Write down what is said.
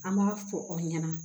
An b'a fɔ a ɲɛna